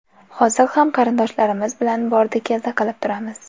Hozir ham qarindoshlarimiz bilan bordi-keldi qilib turamiz.